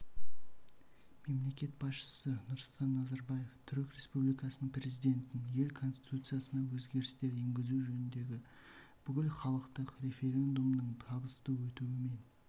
мемлекет басшысы нұрсұлтан назарбаев түрік республикасының президентін ел конституциясына өзгерістер енгізу жөніндегі бүкілхалықтық референдумның табысты өтуімен